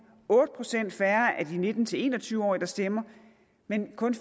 otte procent færre af de nitten til en og tyve årige der stemmer men kun